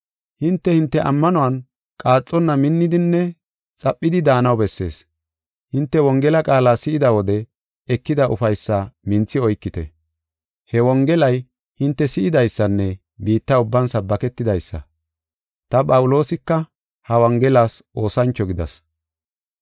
Hinte, hinte ammanuwan qaaxonna minnidinne xaphidi daanaw bessees. Hinte Wongela qaala si7ida wode ekida ufaysaa minthi oykite. He Wongelay hinte si7idaysanne biitta ubban sabbaketidaysa. Ta, Phawuloosika ha Wongelas oosancho gidas.